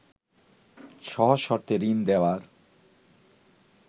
সহজ শর্তে ঋণ দেয়ার